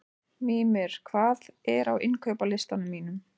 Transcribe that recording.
Mímir, hvað er á innkaupalistanum mínum?